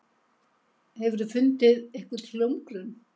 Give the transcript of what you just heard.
Hefurðu fundið einhvern hljómgrunn?